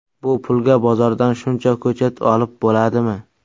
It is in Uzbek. Bu pulga bozordan shuncha ko‘chat olib bo‘ladimi?